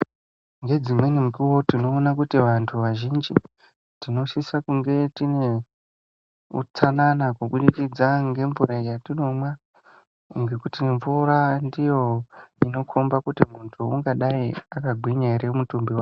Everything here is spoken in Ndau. Ngedzimweni nguwa tinoona kuti vantu vazhinji tinosisa kunge tine utsanana kubudikidza ngemvura yatinomwa ngekuti mvura ndiyo inokhomba kuti muntu ungadai akagwinya ere mutumbi wake.